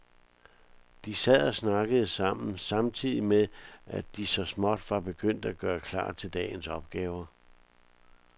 De sad og snakkede sammen samtidig med, at de så småt var begyndt at gøre klar til dagens opgaver.